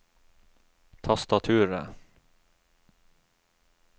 tastaturet